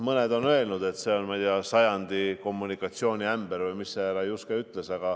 Mõned on öelnud, et see on, ma ei tea, sajandi kommunikatsiooniämber või mida see härra Juske ütles.